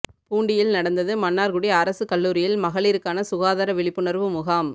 பூண்டியில் நடந்தது மன்னார்குடி அரசு கல்லூரியில் மகளிருக்கான சுகாதார விழிப்புணர்வு முகாம்